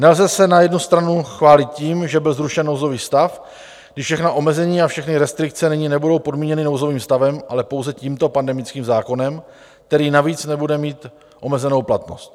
Nelze se na jednu stranu chválit tím, že byl zrušen nouzový stav, když všechna omezení a všechny restrikce nyní nebudou podmíněny nouzovým stavem, ale pouze tímto pandemickým zákonem, který navíc nebude mít omezenou platnost.